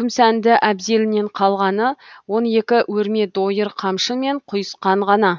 күмсәнді әбзелінен қалғаны он екі өрме дойыр қамшы мен құйысқан ғана